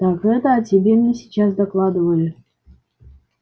так это о тебе мне сейчас докладывали